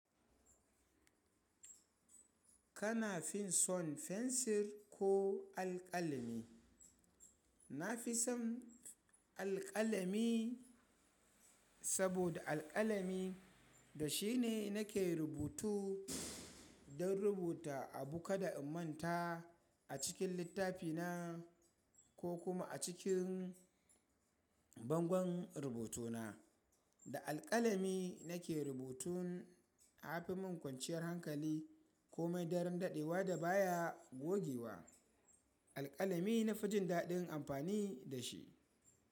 Kana fin son fensir ko alƙalami? Na fi son alƙalami saboda alƙalami da shi ne na ke rubutu don rubuta abu kada in manta a cikin littafi na ko kuma a cikin bangon rubuto na. Da alƙalami na ke rubutun, ya fi min kwanciyar hankali komai, daren daɗewa da baya gogewa. Alƙalami na fi jin daɗin amfani da shi.